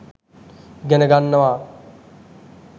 ඉගෙන ගන්නවා.